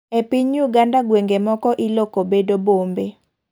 E piny uganda gweng'e moko iloko bedo bombe .